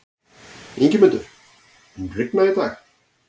Ingimundur, mun rigna í dag?